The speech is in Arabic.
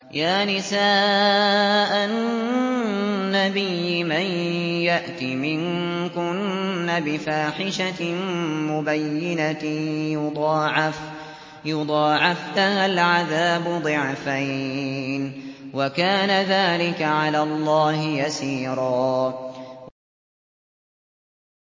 يَا نِسَاءَ النَّبِيِّ مَن يَأْتِ مِنكُنَّ بِفَاحِشَةٍ مُّبَيِّنَةٍ يُضَاعَفْ لَهَا الْعَذَابُ ضِعْفَيْنِ ۚ وَكَانَ ذَٰلِكَ عَلَى اللَّهِ يَسِيرًا